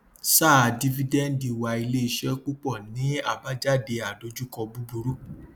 sáà dífídẹǹdì wà ilé iṣẹ púpọ ní àbájáde àdojúkọ búburú